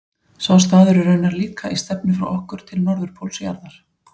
Sá staður er raunar líka í stefnu frá okkur til norðurpóls jarðar.